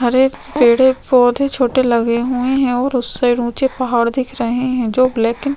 हरे पेड़ - पौधे छोटे लगे हुए है और उस साइड ऊँचे पहाड़ दिख रहे है जो ब्लैक एंड --